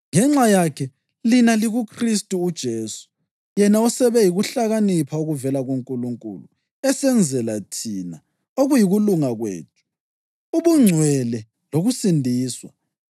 Ngenxa yakhe lina likuKhristu uJesu, yena osebe yikuhlakanipha okuvela kuNkulunkulu esenzela thina, okuyikulunga kwethu, ubungcwele lokusindiswa.